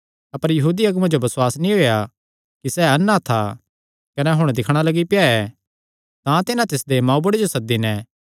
अपर यहूदी अगुआं जो बसुआस नीं होएया कि सैह़ अन्ना था कने हुण दिक्खणा लग्गी पेआ ऐ तां तिन्हां तिसदे मांऊ बुढ़े जो सद्दी नैं